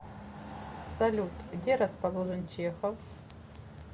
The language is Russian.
салют где расположен чехов